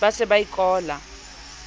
ba se ba e kolla